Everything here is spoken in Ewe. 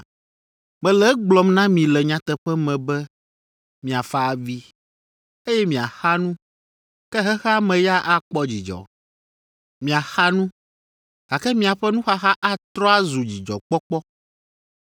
Mele egblɔm na mi le nyateƒe me be miafa avi, eye miaxa nu, ke xexea me ya akpɔ dzidzɔ. Miaxa nu, gake miaƒe nuxaxa atrɔ azu dzidzɔkpɔkpɔ.